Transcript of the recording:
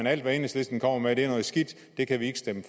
alt hvad enhedslisten kommer med er noget skidt det kan vi ikke stemme